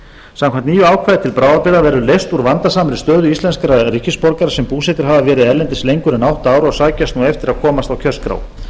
samkvæmt nýju ákvæði til bráðabirgða verður leyst úr vandasamri stöðu íslenskra ríkisborgara sem búsettir hafa verið erlendis lengur en átta ár og sækjast nú eftir að komast á kjörskrá